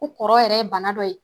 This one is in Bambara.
Ko kɔrɔ yɛrɛ ye bana dɔ ye